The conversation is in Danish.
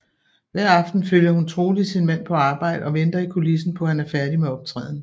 Hver aften følger hun troligt sin mand på arbejde og venter i kulissen på han er færdig med optræden